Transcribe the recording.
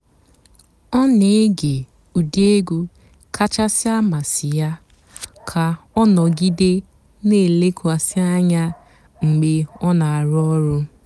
ọ́ nà-ège ụ́dị́ ègwú kàchàsị́ àmásị́ yá kà ọ́ nọ̀gídé nà-èlékwasị́ ànyá mg̀bé ọ́ nà-àrụ́ ọ̀rụ́.